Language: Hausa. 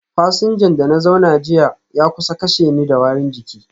Fasinjan da na zauna jiya ya kusa kashe ni da warin jiki